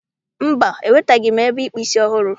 Mba, enwetabeghị m ebe ịkpụ isi ọhụrụ.